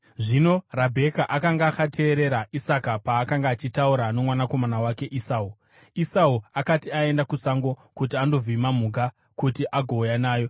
Zvino Rabheka akanga akateerera Isaka paakanga achitaura nomwanakomana wake Esau. Esau akati aenda kusango kuti andovhima mhuka kuti agouya nayo,